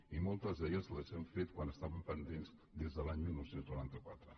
i moltes d’elles les hem fet quan estaven pendents des de l’any dinou noranta quatre